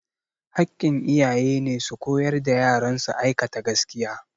Hakkin iyaye ne su koyar da yaran su aikata gaskiya